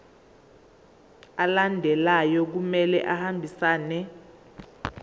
alandelayo kumele ahambisane